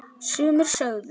Sumir sögðu